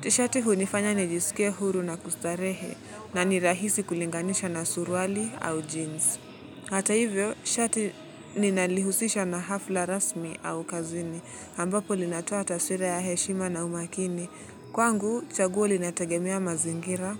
Tshati hunifanya nijiskie huru na kustarehe na ni rahisi kulinganisha na surwali au jeans. Hata hivyo, shati ninalihusisha na hafla rasmi au kazini, ambapo linatoa ta swira ya heshima na umakini. Kwangu, chaguo linategemea mazingira,